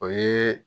O ye